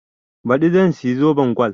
Baɗi zan siya zoben gol